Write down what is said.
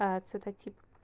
а цветотип